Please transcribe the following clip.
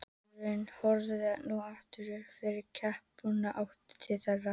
Selurinn horfði nú aftur upp fyrir klapparbrúnina og í áttina til þeirra.